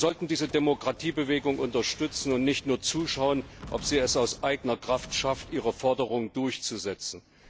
Wir sollten diese Demokratiebewegung unterstützen und nicht nur zuschauen, ob sie es aus eigener Kraft schafft, ihre Forderung durchzusetzen.